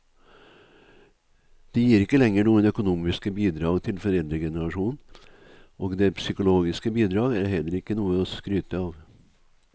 De gir ikke lenger noen økonomiske bidrag til foreldregenerasjonen, og det psykologiske bidrag er heller ikke noe å skryte av.